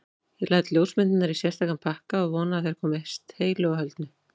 Ég læt ljósmyndirnar í sérstakan pakka og vona að þær komist heilu og höldnu.